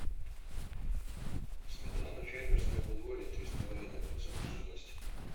сметана фермерское подворье три с половиной процента жирности